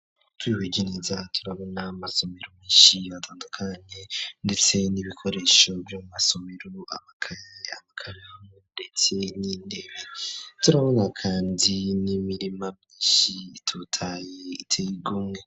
Twihige neza turabona amasomero meshi atandukanye ndetse n'ibikoresho vy'amasomero amakaye amakaramu ndetse n'intebe turabona kandi n'imirima myishi itotahaye iteye igomwe.